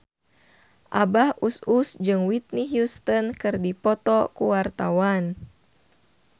Abah Us Us jeung Whitney Houston keur dipoto ku wartawan